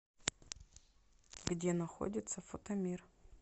где находится фотомир